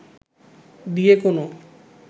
দিয়ে কোনো